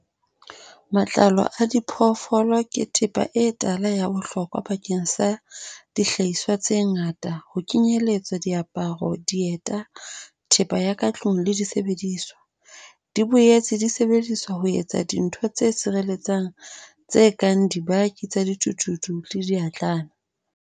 Matlalo a diphoofolo ke thepa e tala ya bohlokwa bakeng sa dihlahiswa tse ngata, ho kenyelletswa diaparo, dieta, thepa ya ka tlung le disebediswa. Di boetse di sebediswa ho etsa dintho tse sireletsang tse kang dibaki tsa dithuthuthu le di a thulana